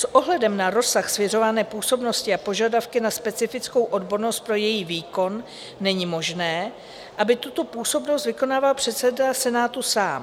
S ohledem na rozsah svěřované působnosti a požadavky na specifickou odbornost pro její výkon není možné, aby tuto působnost vykonával předseda Senátu sám.